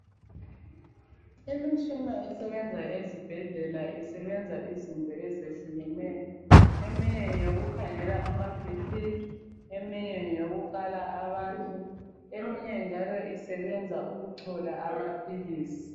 Imishina esebenza ezibhedlela isebenza izinto ezehlukeneyo. Eminye ngeyokukhangela ama BP, eminye ngeyokukala abantu, eminye njalo isebenza ukuchola amaphilisi.